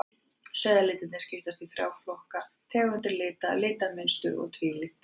Sauðalitirnir skiptast í þrjá flokka, tegundir lita, litamynstur og tvíliti.